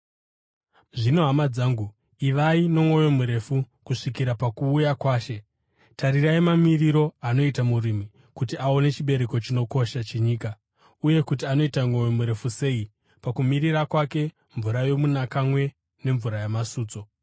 Zvino, hama dzangu, ivai nomwoyo murefu, kusvikira pakuuya kwaShe. Tarirai mamiriro anoita murimi kuti aone chibereko chinokosha chenyika uye kuti anoita mwoyo murefu sei pakumirira kwake mvura yomunakamwe nemvura yamasutso.